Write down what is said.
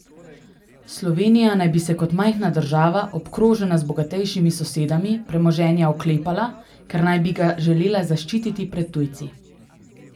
Slovenija naj bi se kot majhna država, obkrožena z bogatejšimi sosedami, premoženja oklepala, ker naj bi ga želela zaščititi pred tujci.